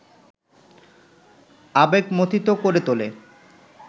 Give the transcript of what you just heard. আবেগমথিত করে তোলে